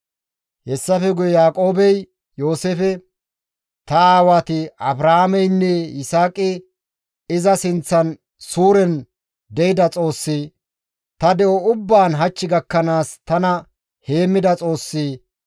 Hessafe guye Yaaqoobey Yooseefe, «Ta aawati Abrahaameynne Yisaaqi iza sinththan suuren de7ida Xoossi, ta de7o ubbaan hach gakkanaas tana heemmida Xoossi,